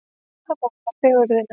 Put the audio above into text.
Að mála fegurðina